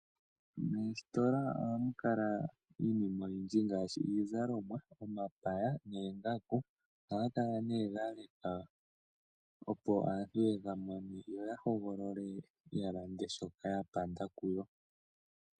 Moositola ohamu kala iinima oyindji ngaashi iizalomwa, omapaya noongaku. Ohaga kala nee ga lekwa opo aantu ye ga mone yo ya hogolole ya lande shoka ya panda kuyo.